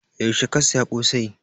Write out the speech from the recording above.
Yaushe ka saya ƙosai?